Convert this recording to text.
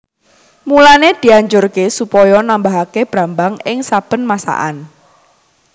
Mulané dianjurké supaya nambahaké brambang ing saben masakan